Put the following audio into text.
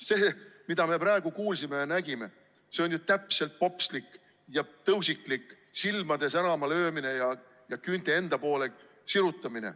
See, mida me praegu kuulsime ja nägime, see on ju täpselt popslik ja tõusiklik silmade särama löömine ja küünte enda poole sirutamine.